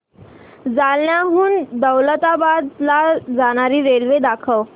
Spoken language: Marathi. जालन्याहून दौलताबाद ला जाणारी रेल्वे दाखव